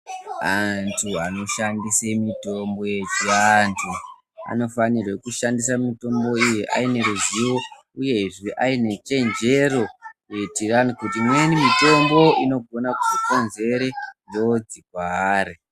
Antu anoshandisa mutombo yechiantu, anofanira kushandisa mitombo iyi aine ruzivo uyezve aine chenjero kuitirani imweni mitombo inogona kuzokonzera njodzi kwaari.